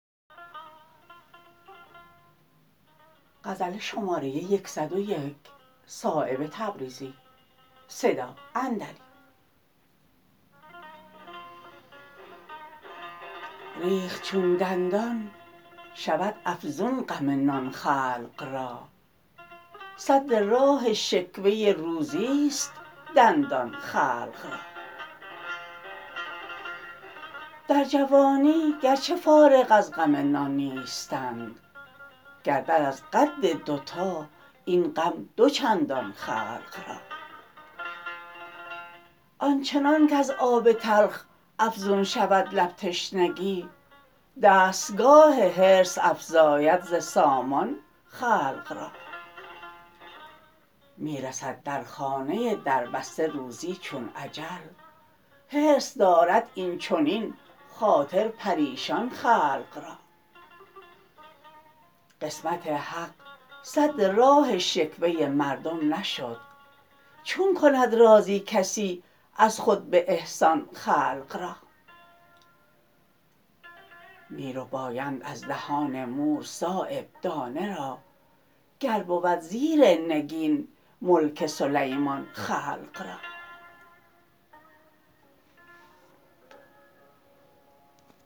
ریخت چون دندان شود افزون غم نان خلق را سد راه شکوه روزی است دندان خلق را در جوانی گر چه فارغ از غم نان نیستند گردد از قد دوتا این غم دو چندان خلق را آنچنان کز آب تلخ افزون شود لب تشنگی دستگاه حرص افزاید ز سامان خلق را می رسد در خانه در بسته روزی چون اجل حرص دارد اینچنین خاطر پریشان خلق را قسمت حق سد راه شکوه مردم نشد چون کند راضی کسی از خود به احسان خلق را می ربایند از دهان مور صایب دانه را گر بود زیر نگین ملک سلیمان خلق را